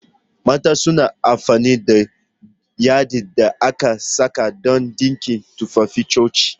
Mata suna amfani da yadin da aka saka don dinka tufafin coci